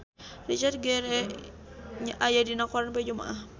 Richard Gere aya dina koran poe Jumaah